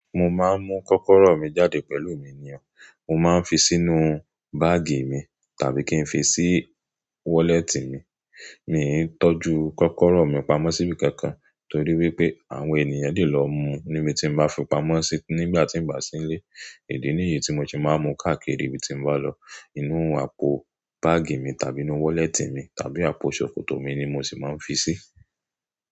Mo máa ń mú kọ́kọ́rọ́ mi jáde pẹ̀lú mi nìyẹn. Mo máa ń fi sínú báàgì mi tàbí kí n fi sí wọ́lẹ́tì mi. N ò tọ́jú kọ́kọ́rọ́ mi pamọ́ síbi kankan torí wípé àwọn ènìyàn lè lọ mú u níbi tí mo bá fi pamọ́ sí nígbà tí mo bá sílé. Èdè nìyí tí mo ṣe máa ń mú káàkiri ibi tí mo bá lọ. Inú àpò báàgì mi tàbí inú wọ́lẹ́tì mi tàbí àpò ṣòkòtò mi ni mo sì máa ń fi sí.